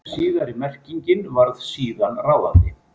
Síðari merkingin varð síðan ráðandi.